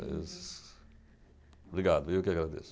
Obrigado, eu que agradeço.